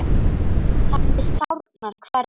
Henni sárnar hvernig